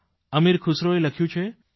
અમીર ખુસરોએ લખ્યું છે